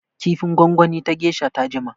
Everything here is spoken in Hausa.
Kifin gwangwani ta geisha ta jima.